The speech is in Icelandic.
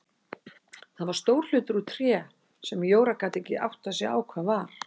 Það var stór hlutur úr tré sem Jóra gat ekki áttað sig á hvað var.